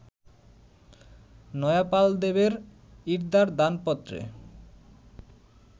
নয়পালদেবের ইর্দার দানপত্রে